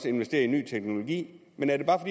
investerer i ny teknologi men er det bare